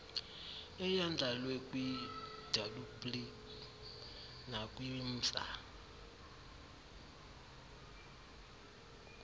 eyandlalwe kwiwplg nakwimsa